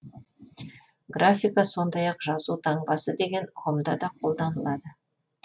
графика сондай ақ жазу таңбасы деген ұғымда да қолданылады